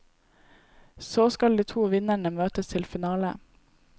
Så skal de to vinnerne møtes til finale.